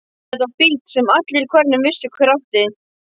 Þetta var bíll sem allir í hverfinu vissu hver átti.